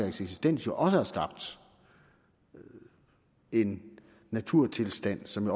eksistens også har skabt en naturtilstand som